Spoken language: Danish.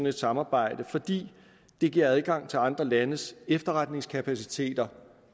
et samarbejde fordi det giver adgang til andre landes efterretningskapaciteter